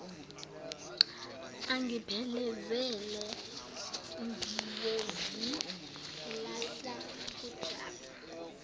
angiphelezele ngiyozilahla kujabu